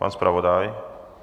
Pan zpravodaj?